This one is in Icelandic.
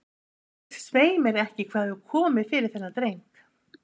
Ég veit svei mér ekki hvað hefur komið fyrir þennan dreng.